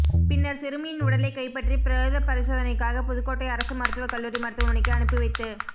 பின்னர் சிறுமியின் உடலை கைப் பற்றி பிரோத பரிசோதனைக்காக புதுக்கோட்டை அரசு மருத்துவ கல்லூரி மருத்துவமனைக்கு அனுப்பி வைத்து